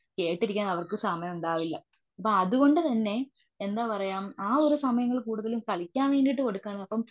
കേട്ടിരിക്കാൻ അവർക്ക് സമയം ഉണ്ടാവില്ല. അപ്പൊ അതുകൊണ്ടു തന്നെ എന്താ പറയുക ആ ഒരു സമയങ്ങളിൽ കുടുതലും കളിയ്ക്കാൻ വേണ്ടിട്ട് കൊടുക്കുക.